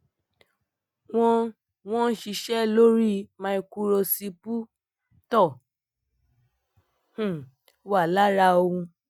wọ́n wọ́n ṣiṣẹ́ lóri maikurosiputo um wà lára ohun